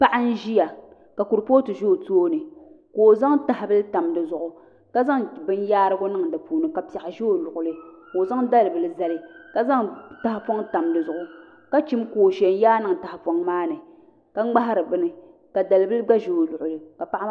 Paɣa n ʒiya ka kuripooti bɛ o tooni ka o zaŋ tahabili tam di zuɣu ka zaŋ bin yaarigu niŋ di puuni ka piɛɣu ʒɛ o luɣuli ka o zaŋ dali bili zali ka zaŋ tahapoŋ tam di zuɣu ka chim kooshɛ n yaa niŋ tahapoŋ maa ni ka ŋmahari bini ka dalibili gba ʒɛ o luɣuli ka paɣa maa